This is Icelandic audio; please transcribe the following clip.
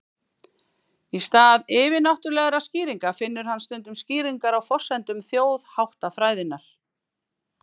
í stað yfirnáttúrulegra skýringa finnur hann stundum skýringar á forsendum þjóðháttafræðinnar